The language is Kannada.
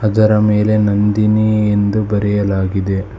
ಅದರ ಮೇಲೆ ನಂದಿನಿ ಎಂದು ಬರೆಯಲಾಗಿದೆ.